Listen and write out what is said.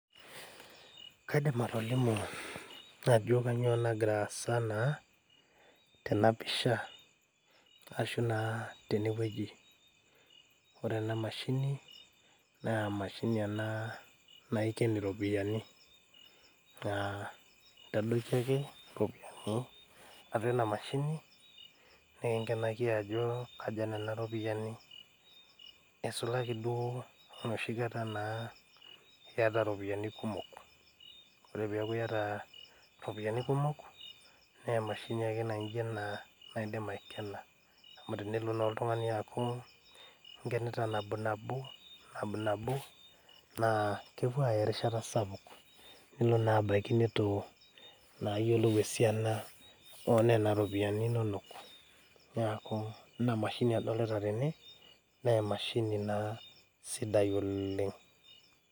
Kaidim atolimu ajo kanyio nagira aasa naa tena pisha ashu naa tenewueji ore ena mashini naa emashini ena naiken iropiyiani naa intadoiki ake iropiyiani atua ena mashini nikinkenaki ajo kaja nena ropiyiani eisulaki duo enoshi kataa naa iyata iropiyiani kumok ore piaku iyata iropiyiani kumok naa emashini ake nainjio ena naidim aikena amu tenelo naa oltung'ani aaku inkenita nabo nabo, nab nabo naa kepuo aaya erishata sapuk nelo naa abaiki nitu naa ayiolou esiana onena ropiyiani inonok niaku ina mashini adolita tene naa emashini naa sidai oleng.